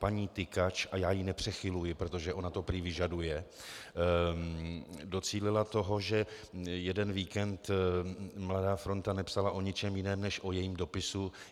Paní Tykač, a já ji nepřechyluji, protože ona to prý vyžaduje, docílila toho, že jeden víkend Mladá fronta nepsala o ničem jiném než o jejím dopisu.